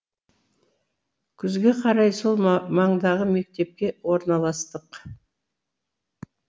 күзге қарай сол маңдағы мектепке орналастық